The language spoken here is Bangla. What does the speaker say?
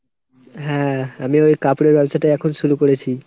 হ্যাঁ আমি ওই কাপড়ের ব্যবসাটাই এখন শুরু করেছি।